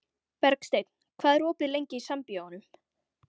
Bergsteinn, hvað er opið lengi í Sambíóunum?